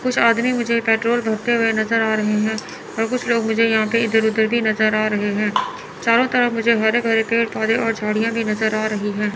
कुछ आदमी मुझे पेट्रोल भरते हुए नज़र आ रहे हैं और कुछ लोग मुझे यहां पे इधर-उधर भी नज़र आ रहे हैं। चारों तरफ मुझे हरे-भरे पेड़-पौधे और झाड़ियाँ भी नज़र आ रही हैं।